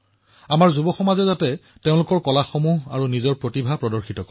আমাৰ যুৱ বন্ধুসকলে ইয়াত তেওঁলোকৰ কলা আৰু তেওঁলোকৰ প্ৰতিভা প্ৰদৰ্শন কৰক